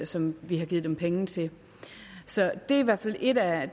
som vi har givet dem penge til det er hvert fald en af